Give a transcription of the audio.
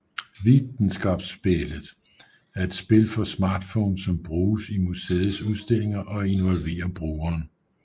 Vitenskapsspillet er et spil for smartphones som bruges i museets udstillinger og involverer brugeren